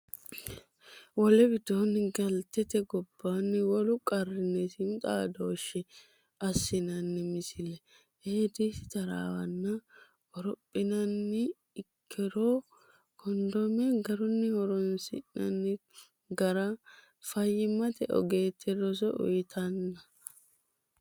Wole widoonni galtete gobbaanni wolu qarrinni siimu xaadooshshe assinanni Misile Eedisi taraawonna qorophinanni ikkiro kondome garunni horonsi ratenni gara fayyimmate ogeette roso uyitanna.